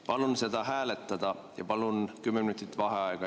Palun seda hääletada ja enne palun 10 minutit vaheaega.